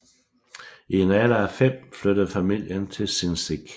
I en alder af fem flyttede familien til Sinzig